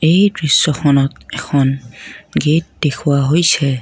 এই দৃশ্যখনত এখন গেট দেখুওৱা হৈছে।